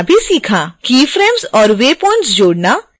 keyframes और waypoints जोड़ना